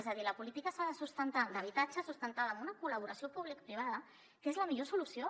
és a dir la política s’ha de sustentar en habitatge en una col·laboració publicoprivada que és la millor solució